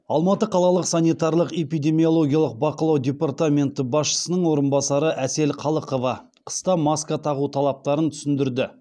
алматы қалалық санитарлық экпидемиологиялық бақылау департаменті басшысының орынбасары әсел қалықова қыста маска тағу талаптарын түсіндірді